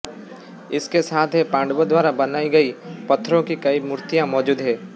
इसके साथ है पांडवों द्वारा बनाई गई पत्थरों की कई मूर्तियां मौजूद हैं